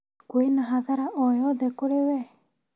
Kwĩna hathara oyothe kũrĩ we